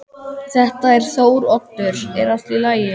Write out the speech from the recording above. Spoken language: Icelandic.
Þetta er Þóroddur, er allt í lagi?